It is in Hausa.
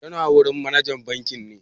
Tana wurin manajan bankin ne?